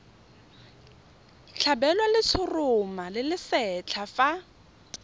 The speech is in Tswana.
tlhabelwa letshoroma le lesetlha fa